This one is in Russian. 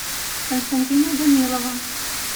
константина данилова